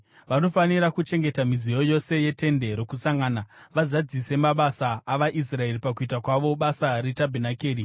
Vanofanira kuchengeta midziyo yose yeTende roKusangana, vazadzise mabasa avaIsraeri pakuita kwavo basa retabhenakeri.